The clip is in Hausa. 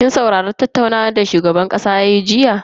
Kin saurari tattaunawa da shugaban kasa yayi jiya?